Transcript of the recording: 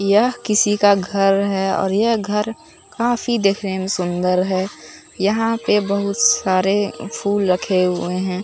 यह किसी का घर है और यह घर काफी देखने में सुंदर है यहां पे बहुत सारे फूल रखे हुए हैं।